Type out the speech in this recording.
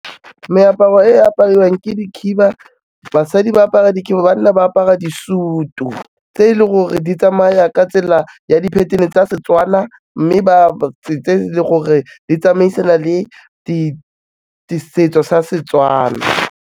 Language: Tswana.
Meaparo e apariwang ke dikhiba, basadi ba apara dikhiba, banna ba apara di-suit-u tse e leng gore di tsamaya ka tsela ya di-pattern-e tsa Setswana mme tse e leng gore di tsamaisana le setso sa Setswana.